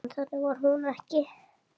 En þannig var hún ekki.